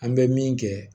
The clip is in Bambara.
An bɛ min kɛ